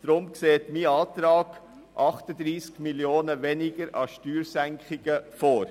Deshalb sieht mein Antrag 38 Mio. Franken weniger an Steuersenkungen vor.